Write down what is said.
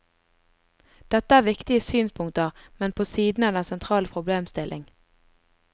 Dette er viktige synspunkter, men på siden av den sentrale problemstilling.